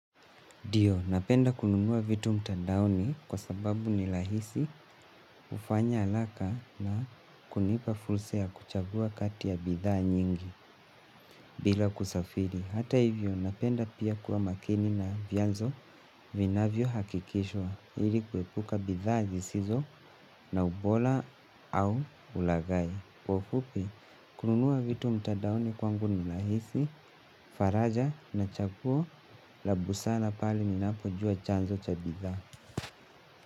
Ndio, napenda kununua vitu mtandaoni kwa sababu ni lahisi ufanya alaka na kunipa fulsa ya kuchagua kati ya bidhaa nyingi bila kusafiri. Hata hivyo, napenda pia kuwa makini na vianzo vinavyo hakikishwa ili kuepuka bidhaa zisizo na ubola au ulagai. Kwa ufupi, kununua vitu mtadaoni kwangu ni lahisi, faraja na chaguo la busara pale ninapo jua chanzo cha bidhaa.